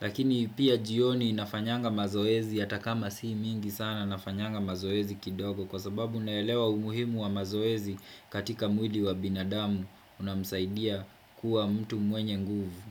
Lakini pia jioni nafanyanga mazoezi hata kama si mingi sana nafanyanga mazoezi kidogo Kwa sababu naelewa umuhimu wa mazoezi katika mwili wa binadamu Unamsaidia kuwa mtu mwenye nguvu.